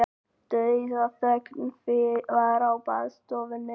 Dauðaþögn var í baðstofunni.